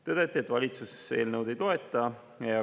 Tõdeti, et valitsus eelnõu ei toeta.